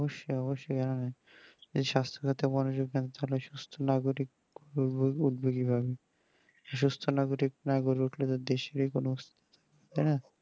অবশ্যই অবশ্যই এই সাস্থ সাথী মনোযোগ দেন তাহলেই সুস্থ নাগররিক সুস্থ নাগরিক যদি না জেগে উঠে তো দেশের কোনো তা